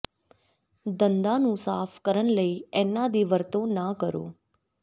ਦੰਦਾਂ ਨੂੰ ਸਾਫ਼ ਕਰਨ ਲਈ ਇਨ੍ਹਾਂ ਦੀ ਵਰਤੋਂ ਨਾ ਕਰੋ